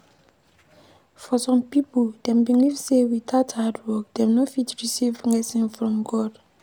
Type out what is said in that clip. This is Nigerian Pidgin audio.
For some pipo dem believe sey without hard work dem no fit receive blessing from God